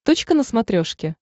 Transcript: точка на смотрешке